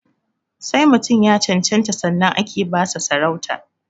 Sai mutum ya cancanta sannan ake ba sa sarauta